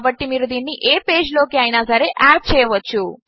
కాబట్టి మీరు దీనిని ఏ పేజ్ లోకి అయినా సరే యాడ్ చేయవచ్చు